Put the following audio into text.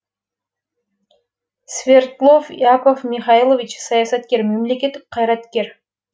свердлов яков михайлович саясаткер мемлекеттік қайраткер